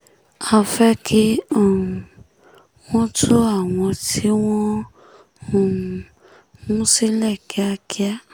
a fẹ́ kí um wọ́n tú àwọn tí wọ́n um mú sílẹ̀ kíákíá